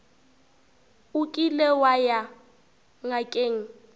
o kile wa ya ngakeng